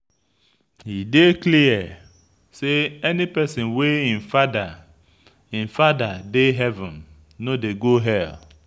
E dey clear say any pesin wey im fada im fada dey heaven no dey go hell.